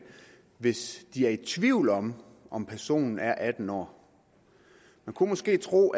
hvis de er tvivl om om personen er atten år man kunne måske tro